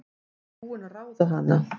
Ég er búin að ráða hana!